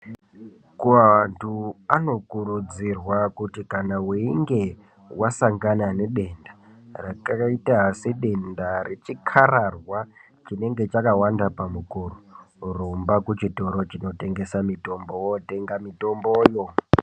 Kuvantu anokurudzirwa kuti kana weinge wasangana nedenda rakaita sedenda nechikararwa kuti chinenge chakawanda pamukuwo rumba kuchitoro chinitengesa mitombo wondotenga mitomboyo.